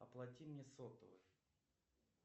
оплати мне сотовый